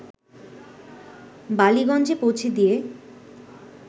বালিগঞ্জে পৌঁছে দিয়ে